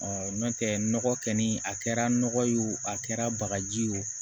nɔntɛ nɔgɔ kɛ ni a kɛra nɔgɔ ye wo a kɛra bagaji ye o